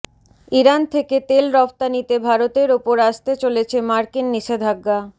Iran থেকে তেল রফতানিতে ভারতের ওপর আসতে চলেছে মার্কিন নিষেধাজ্ঞা